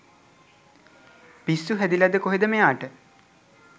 පිස්සු හැදිලද කොහෙද මෙයාට